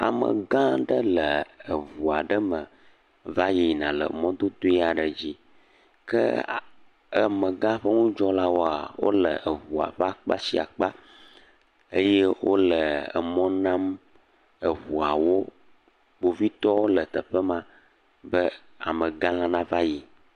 Amegã aɖe le eŋu aɖe me va yina le mɔdodoe aɖe dzi ke amegã ƒe ŋudzɔlwoa, wole ŋua ƒe akpa sia akpa eye wole emɔ nam eŋuawo. Kpovitɔwo le teƒe ma be amegãla nava yi.